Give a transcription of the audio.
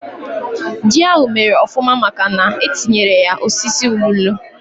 Ji ahú mèrè ofụma màkà na etinyere ya osisi ụlulu